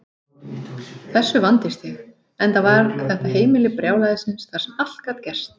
Þessu vandist ég, enda var þetta heimili brjálæðisins þar sem allt gat gerst.